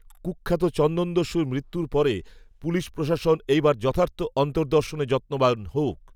কূখ্যাত চন্দনদস্যুর মৃত্যুর পরে, পুলিশপ্রশাসন, এই বার, যথার্থ অন্তদর্র্শনে, যত্নবান হউক